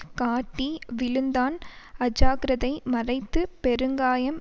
காட்டி விழுந்தான் அஜாக்கிரதை மறைத்து பெருங்காயம்